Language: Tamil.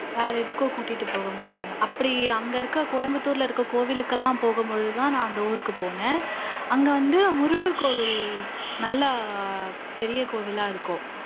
வேற எதுக்கும் கூட்டிட்டு போகமாட்டாங்க அப்படி அங்க இருக்கிற கோயம்புத்தூர்ல இருக்கிற கோவிலுக்கெல்லாம் போகும்பொழுதுதான் நான் அந்த ஊருக்கு போனேன் அங்க வந்து முருகர் கோவில் நல்லா பெரிய கோவிலா இருக்கும்